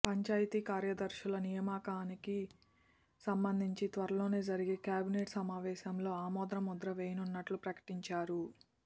పంచాయతీ కార్యదర్శుల నియామకానికి సంబంధించి త్వరలో జరిగే కేబినెట్ సమావేశంలో ఆమోదముద్ర వేయనున్నట్లు ప్రకటించారు